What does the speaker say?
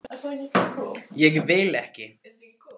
Ég vil ekki.